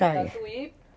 Saí. Tatuí